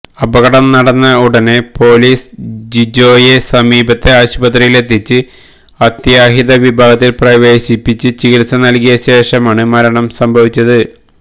അപകടം നടന്ന ഉടന് പോലീസ് ജിജോയെ സമീപത്തെ ആശുപത്രിയിലെത്തിച്ച് അത്യാഹിത വിഭാഗത്തില് പ്രവേശിപ്പിച്ച് ചികിത്സ നല്കിയ ശേഷമാണ് മരണം സംഭവിച്ചത്